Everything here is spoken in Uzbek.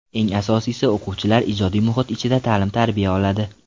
Eng asosiysi, o‘quvchilar ijodiy muhit ichida ta’lim-tarbiya oladi.